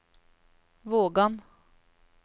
Vågan